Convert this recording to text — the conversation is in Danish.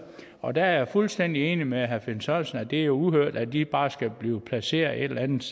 og der er jeg fuldstændig enig med herre finn sørensen i at det er uhørt at de bare skal blive placeret et eller andet